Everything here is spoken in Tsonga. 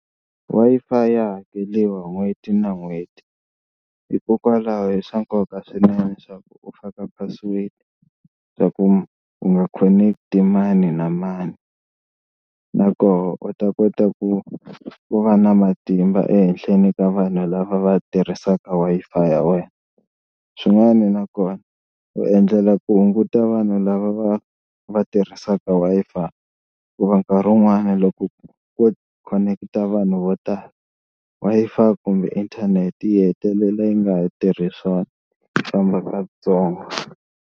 Wi-Fi ya hakeliwa n'hweti na n'hweti, hikokwalaho i swa nkoka swinene swa ku u faka password swa ku u nga khoneketi mani na mani na koho u ta kota ku ku va na matimba ehenhleni ka vanhu lava va tirhisaka Wi-Fi ya wena. Swin'wani na kona u endlela ku hunguta vanhu lava va va tirhisaka Wi-Fi hikuva nkarhi wun'wani loko ko khoneketa vanhu vo tala Wi-Fi kumbe inthanete yi hetelela yi nga ha tirhi swona yi famba katsongo.